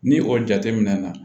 Ni o jateminɛna